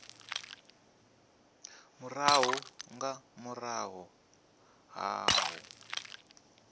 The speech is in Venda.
murahu nga murahu ha u